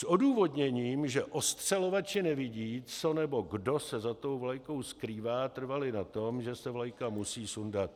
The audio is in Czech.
S odůvodněním, že odstřelovači nevidí, co nebo kdo se za tou vlajkou skrývá, trvali na tom, že se vlajka musí sundat.